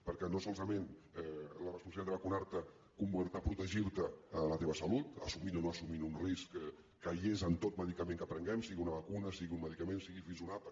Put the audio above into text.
perquè no solament la responsabilitat de vacunar te comporta protegir la teva salut assumint o no assumint un risc que hi és en tot medicament que prenguem sigui una vacuna sigui un medicament sigui fins un àpat